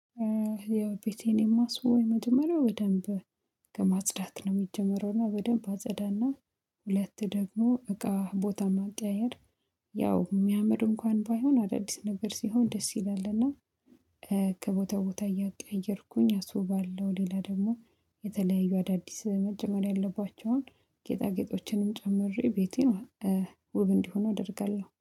ያው ቤቴን የማስውበው የመጀመሪያው በደንብ ከማጽዳት ነው የሚጀመረው። እና በደንብ አጸዳና ሁለት ደግሞ እቃ ቦታ ማቀያየር፤ ያው የሚያምር እንኳን ባይሆን አዳዲስ ነገር ሲሆን ደስ ይላል። እና ከቦታ ቦታ እያቀየርኩኝ አስውባለው። ሌላ ደግሞ የተለያዩ አዳዲስ መጨመር ያለባቸውን ጌጣጌጦችንም ጨምሬ ቤቴን ውብ እንዲሆን አደርጋለሁ።